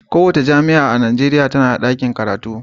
Kowace jami'a a Najeriya tana da ɗakin karatu.